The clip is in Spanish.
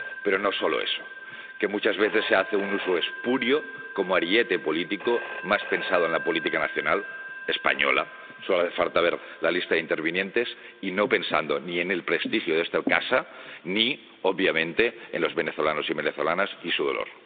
Pero no solo eso quiero decir que muchas veces se hace un uso espurio, como ariete político, más pensando en la política nacional, española —solo hace falta ver la lista de intervinientes—, y no pensando ni en el prestigio de esta casa, ni, obviamente, en los venezolanos y las venezolanas y su dolor.